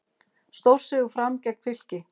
Stórsigur Fram gegn Fylki